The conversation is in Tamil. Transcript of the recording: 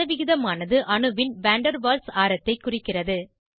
சதவிகிதமானது அணுவின் வாண்டர்வால்ஸ் ஆரத்தைக் குறிக்கிறது